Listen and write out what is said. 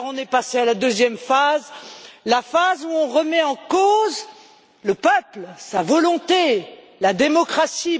Alors, on est passé à la deuxième phase, celle où l'on remet en cause le peuple, sa volonté, la démocratie.